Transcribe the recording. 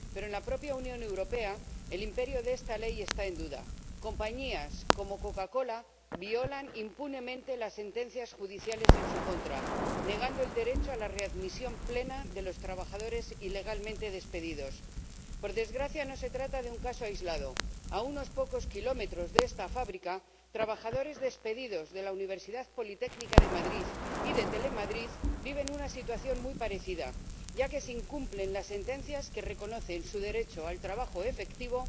Pero en la propia Unión Europea el imperio de esta ley está en duda compañías como Coca Cola violan impunemente las sentencias judiciales en su contra, negando el derecho a la readmisión plena de los trabajadores ilegalmente despedidos. Por desgracia no se trata de un caso aislado a unos pocos kilómetros de esta fábrica, trabajadores despedidos de la Universidad Politécnica de Madrid y de Telemadrid viven una situación muy parecida, ya que se incumplen las sentencias que reconocen su derecho al trabajo efectivo,